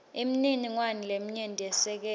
imininingwane leminyenti yesekela